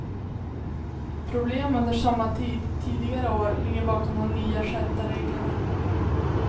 Problem under sommartid tidigare år ligger bakom de nya skärpta reglerna.